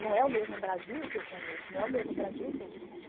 Não é o mesmo Brasil que eu conheço, não é o mesmo Brasil que eu vivo.